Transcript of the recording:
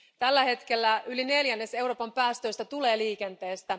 Tällä hetkellä yli neljännes Euroopan päästöistä tulee liikenteestä.